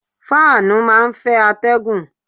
Fáànù máa ń fẹ́ atẹ́gùn.